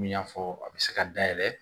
N y'a fɔ a bɛ se ka dayɛlɛ